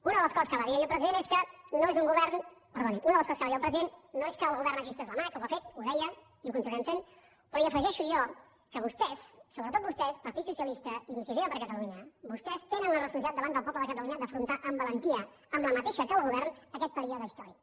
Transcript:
una de les coses que va dir ahir el president no és que el govern hagi estès la mà que ho ha fet ho deia i ho continuarem fent però hi afegeixo jo que vostès sobretot vostès partit socialista iniciativa per catalunya vostès tenen la responsabilitat davant del poble de catalunya d’afrontar amb valentia amb la mateixa que el govern aquest període històric